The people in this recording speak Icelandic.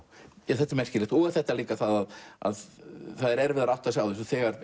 þetta er merkilegt og þetta líka að að það er erfiðara að átta sig á þessu þegar